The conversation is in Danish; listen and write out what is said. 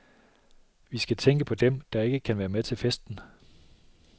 Vi skal tænke på dem, der ikke kan være med til festen.